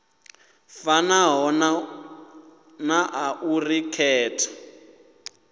fanaho na a uri khetho